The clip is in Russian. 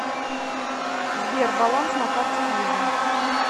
сбер баланс на карте виза